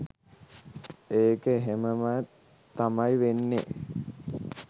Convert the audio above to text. ඒක එහෙම ම තමයි වෙන්නෙ